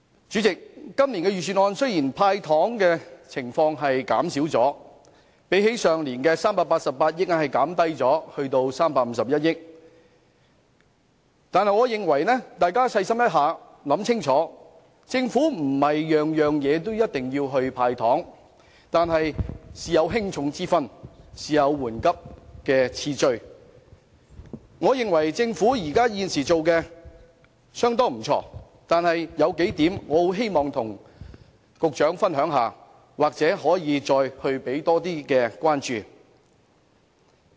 主席，今年的預算案雖然減少了"派糖"，由去年的388億元減至351億元，但大家細心想想，政府並非需要經常"派糖"，事有輕重緩急之分，我認為政府現時已做得不錯，但有幾點我很希望與局長分享，或許他可以給予更大關注。